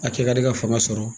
A kɛ ka di ka fanga sɔrɔ